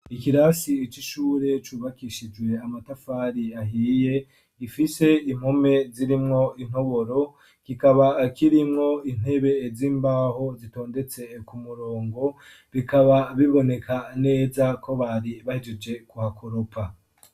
Ikirasi icishure cubakishijwe amatafari ahiye gifise impume zirimwo, intoboro kikaba ,kirimwo intebe z'imbaho zitondetse ku murongo bikaba biboneka neza ko bari bahejeje kuhakoropa.